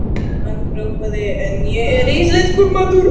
Hann hrópaði: En ég er íslenskur maður!